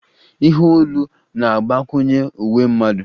Ihe olu na-agbakwunye uwe mmadụ